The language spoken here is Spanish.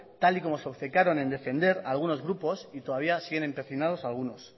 tal y como se obcecaron en defender algunos grupos y todavía siguen empecinados algunos